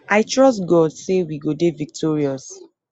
i trust god say we go dey victorious